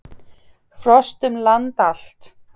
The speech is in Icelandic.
Frost um land allt